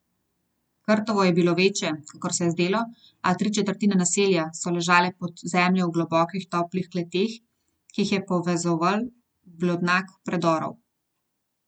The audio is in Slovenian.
Krtovo je bilo večje, kakor se je zdelo, a tri četrtine naselja so ležale pod zemljo v globokih toplih kleteh, ki jih je povezoval blodnjak predorov.